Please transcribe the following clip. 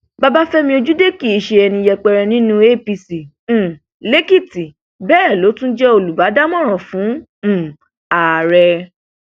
babafẹmi ojúde kí ṣe ẹni yẹpẹrẹ nínú apc um lèkìtì bẹẹ ló tún jẹ olùdámọràn fún um ààrẹ